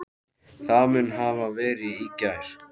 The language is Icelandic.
Það mun hafa verið í gær.